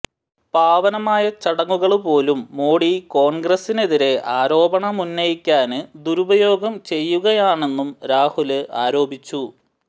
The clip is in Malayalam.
പാവനമായ ചടങ്ങുകള് പോലും മോഡി കോണ്ഗ്രസിനെതിരെ ആരോപണമുന്നയിക്കാന് ദുരുപയോഗം ചെയ്യുകയാണെന്നും രാഹുല് ആരോപിച്ചു